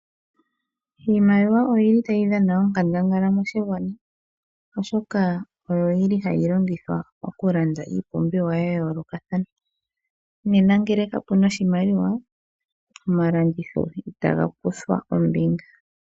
Iimaliwa oyili tayidhana onkandangala moshingwana, oshoka Oyo yili hayilongithwa okulanda ipumbiwa yayo loka thana, nena ngele kapuna oshimaliwa Oma landitho itangakuthwa ombinga.